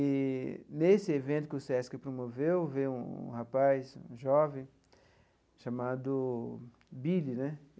E, nesse evento que o Sesc promoveu, veio um rapaz jovem chamado Billy né.